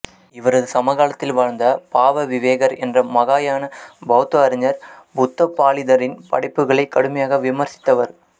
இவரது சமகாலத்தில் வாழ்ந்த பாவவிவேகர் என்ற மகாயான பௌத்த அறிஞர் புத்தபாலிதரின் படைப்புகளை கடுமையாக விமர்சித்தவர்